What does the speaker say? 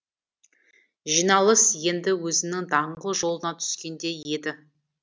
жиналыс енді өзінің даңғыл жолына түскендей еді